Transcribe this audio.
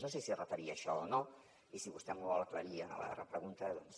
no sé si es referia a això o no i si vostè m’ho vol aclarir a la repregunta doncs